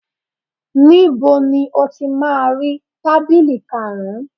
Níbo ni o ti máa rí tábìlì karùn-ún